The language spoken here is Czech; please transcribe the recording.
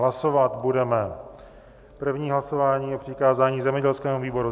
Hlasovat budeme první hlasování o přikázání zemědělskému výboru.